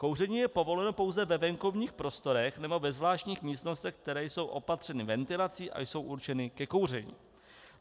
Kouření je povoleno pouze ve venkovních prostorách nebo ve zvláštních místnostech, které jsou opatřeny ventilací a jsou určeny ke kouření.